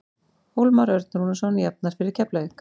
Hólmar Örn Rúnarsson jafnar fyrir Keflavík.